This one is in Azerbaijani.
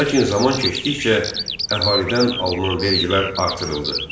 Lakin zaman keçdikcə əhalidən alınan vergilər artırıldı.